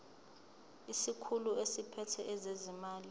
isikhulu esiphethe ezezimali